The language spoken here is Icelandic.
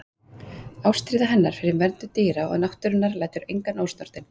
Ástríða hennar fyrir verndun dýra og náttúrunnar lætur engan ósnortinn.